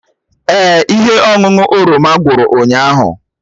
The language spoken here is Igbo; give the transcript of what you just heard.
Èè, ihe ọṅụṅụ oroma gwụrụ ụnyahụ